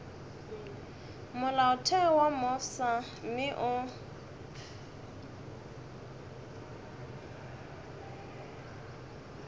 molaotheo wo mofsa mme o